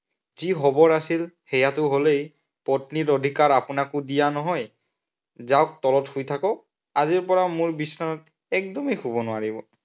যি হবৰ আছিল সেয়াটো হলেই, পত্নীৰ অধিকাৰ আপোনাকো দিয়া নহয়। যাওক তলত শুই থাকক। আজিৰ পৰা মোৰ বিচনাত একদমেই শুব নোৱাৰিব।